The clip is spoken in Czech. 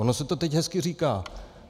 Ono se to teď hezky říká.